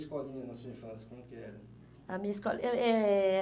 E a escolinha na sua infância, como que era? A minha escoli eu eh